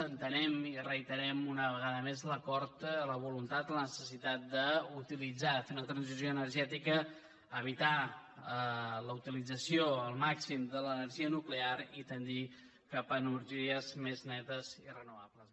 entenem i reiterem una vegada més l’acord la voluntat la necessitat d’utilitzar de fer una transició energètica d’evitar la utilització al màxim de l’energia nuclear i tendir cap a energies més netes i renovables